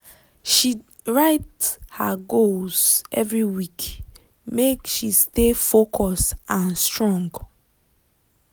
she write her goals every week make she stay focus and strong.